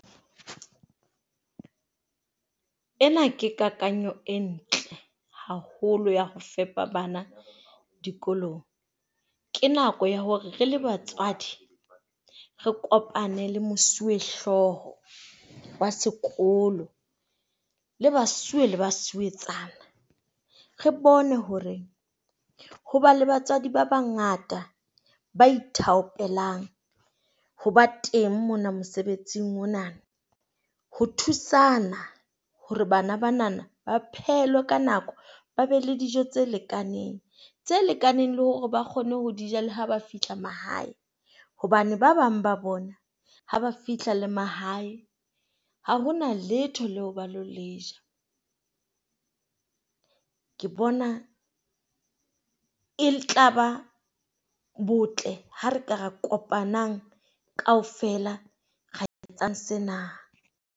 Ena ke kakanyo e ntle haholo ya ho fepa bana dikolong. Ke nako ya hore re le batswadi, re kopane le mosuwehlooho wa sekolo, le basuwe le basuwetsana. Re bone hore ho ba le batswadi ba bangata ba ithaopelang ho ba teng mona mosebetsing ona. Ho thusana hore bana banana ba phehelwe ka nako. Ba be le dijo tse lekaneng tse lekaneng le hore ba kgone ho ja le ha ba fihla mahae hobane ba bang ba bona ha ba fihla le mahae ha hona letho leo ba ilo le ja. Ke bona e tla ba botle ha re ka re kopanang kaofela ra etsang sena.